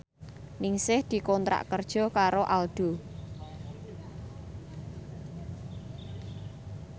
Ningsih dikontrak kerja karo Aldo